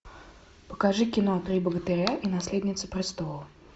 покажи кино три богатыря и наследница престола